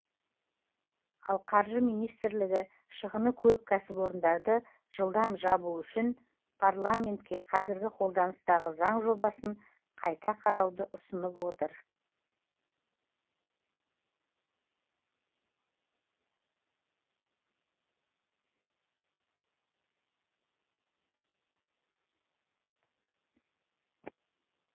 ал қаржы министрлігі шығыны көп кәсіпорындарды жылдам жабу үшін парламентке қазіргі қолданыстағы заң жобасын қайта қарауды ұсынып отыр